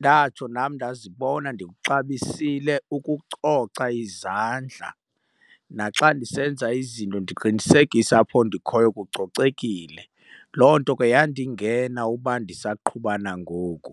ndatsho nam ndazibona ndikuxabisile ukucoca izandla naxa ndisenza izinto ndiqinisekise apho ndikhoyo kucocekile. Loo nto ke yandingena uba ndisaqhuba nangoku.